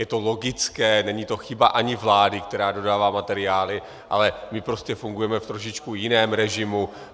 Je to logické, není to chyba ani vlády, která dodává materiály, ale my prostě fungujeme v trošičku jiném režimu.